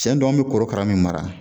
Cɛn don an be korokara min mara